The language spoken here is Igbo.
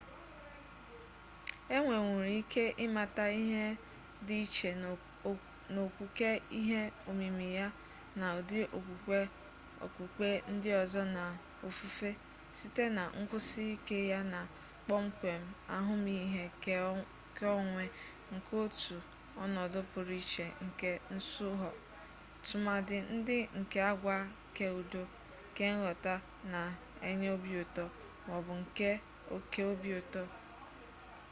e nwenwuru ike ịmata ihe dị iche na okwuke ihe omimi ya na ụdị okwukwe okpukpe ndị ọzọ na ofufe site na nkwusi ike ya na kpọmkwem ahụmihe keonwe nke otu ọnọdụ pụrụ iche nke nsụhọ tụmadị ndị nke agwa keudo kenghọta na-enye obi ụtọ ma ọ bụ nke oke obi ụtọ